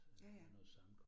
Ja ja